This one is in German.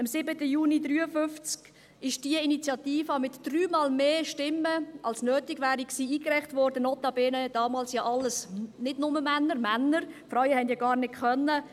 Am 7. Juni 1953 wurde diese Initiative mit dreimal mehr Stimmen als nötig gewesen wären eingereicht, notabene damals nur von Männern – nicht notabene, da Frauen dies gar nicht konnten.